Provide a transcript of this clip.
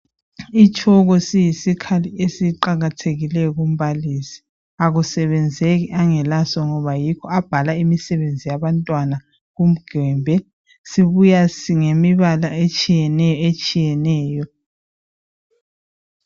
Itshoko siyisikhali esiqakathekileyo kumbalisi , akusebenzeki engelaso ngoba yikho abhala imisebenzi yabantwana kugwembe sibuya ngemibala etshiyeneyo etshiyeneyo